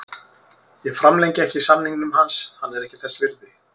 Ég framlengi ekki samningnum hans, hann er ekki þess virði.